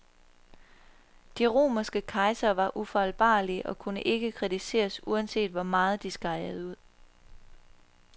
De romerske kejsere var ufejlbarlige og kunne ikke kritiseres uanset hvor meget de skejede ud.